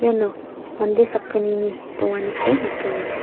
iano mande sakgnini donganiko nikenga.